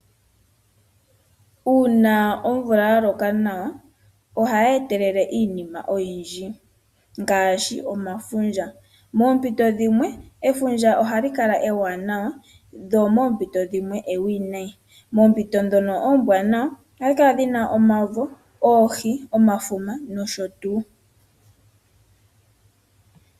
Uuna omvula ya loka nawa ohayi etelele iinima oyindji ngaashi efundja. Moompito dhimwe efundja ohali kala ewanawa, dho oompito dhimwe ewinayi. Moompito ndhono oombwanawa ohali kala li na omavo, oohi, omafuma nosho tuu.